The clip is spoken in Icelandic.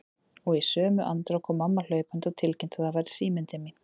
Og í sömu andrá kom mamma hlaupandi og tilkynnti að það væri síminn til mín.